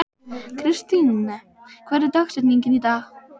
Kristine, hver er dagsetningin í dag?